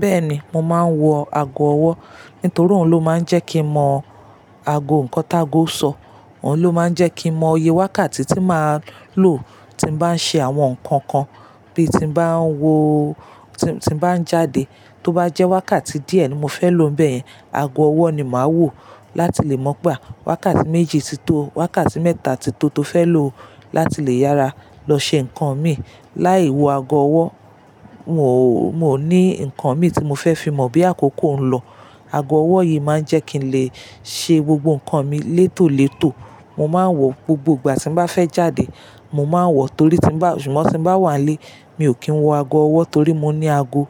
Bẹ́ẹ̀ ni, mo máa ń wọ ago ọwọ́, nítorí òun ló máa ń jẹ́ kí mo mọ ago nǹkan tágo sọ. Òun ló máa ń jẹ́ kí mo mọ òye wákàtí tí màá lò tí mo bá ń ṣe àwọn nǹkan kan, bí ti mo bá ń wo-- tí mo bá ń jáde. Tó bá jẹ́ wákàtí díẹ̀ ni mo fẹ́ lò bẹ́ẹ̀, ago ọwọ́ ni màá wò láti lè mọ̀ pé wákàtí méjì ti tó, wákàtí mẹ́ta ti tó tó fẹ́ lò láti lè yára lọ ṣe nǹkan mi. Láì wọ ago ọwọ́, n ò, mo ní nǹkan mi tí mo fẹ́ fi mọ boya àkókò ń lọ. Ago ọwọ́ yìí máa ń jẹ́ kí n lè ṣe gbogbo nǹkan mi létòlétò. Mo máa ń wọ̀ gbogbo ìgbà tí n bá fẹ́ jáde, mo máa ń wọ̀ torí tí ń bá, ṣùgbọ́n tí n bá wà nílé, mi ò kí ń wọ ago ọwọ́ torí mo ní ago